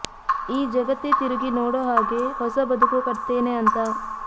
ಈ ಜಗತ್ತೇ ತಿರುಗಿ ನೋಡೋ ಹಾಗೆ ಹೊಸ ಬದುಕು ಕಟ್ತೇನೆ ಅಂತ